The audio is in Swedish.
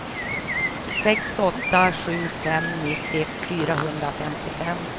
sex åtta sju fem nittio fyrahundrafemtiofem